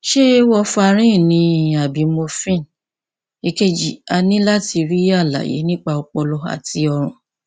ṣé warfarin ni àbí morphine èkejì a ní láti rí àlàyé nípa ọpọlọ àti ọrùn